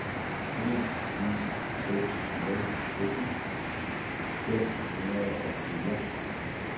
en ni seks nul sytten fem hundrede og fire